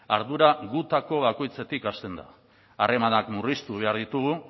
ardura gutako bakoitzetik hasten da harremanak murriztu behar ditugu